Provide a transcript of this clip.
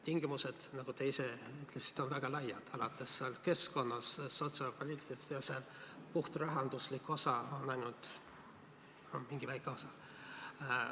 Valdkonnad, nagu te ise ütlesite, on väga laiad, alates keskkonnast ja sotsiaalpoliitikast, see puhtrahanduslik osa on ainult mingi väike osa.